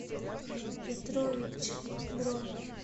петровичъ бронь